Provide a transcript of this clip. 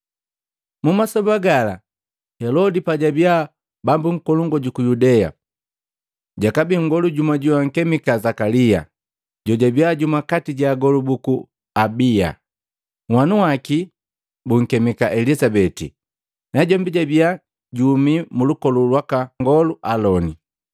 Mumasoba gala Helodi pajabi bambu nkolongu juku Yudea, jakabii nngolu jumu joankemika Zakalia, jojabiya jumu kati ja agolu buku Abiya. Nhwanu waki bunkemika Elizabeti, najombi jabia juhumi mulukolu lwaka nngolu Aloni.